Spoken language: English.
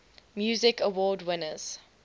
music awards winners